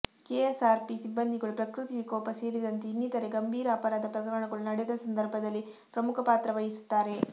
KSRP ಸಿಬ್ಬಂದಿಗಳು ಪ್ರಕೃತಿ ವಿಕೋಪ ಸೇರಿದಂತೆ ಇನ್ನಿತರೆ ಗಂಭೀರ ಅಪರಾಧ ಪ್ರಕರಣಗಳು ನಡೆದ ಸಂದರ್ಭದಲ್ಲಿ ಪ್ರಮುಖ ಪಾತ್ರವಹಿಸುತ್ತಾರೆ